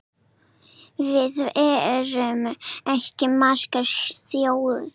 Við erum ekki margar þjóðir.